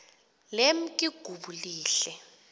lemk igubu lehl